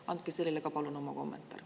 Andke ka selle kohta palun oma kommentaar.